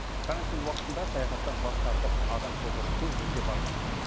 карантин уақытында саяхаттан бас тартып адам шоғыры көп жерге бармаған жөн